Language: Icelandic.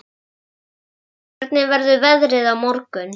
Olgeir, hvernig verður veðrið á morgun?